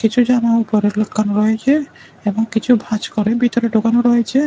কিছু জামা ওপরে লটকানো রয়েছে এবং কিছু ভাঁজ করে ভিতরে ঢোকানো রয়েছে।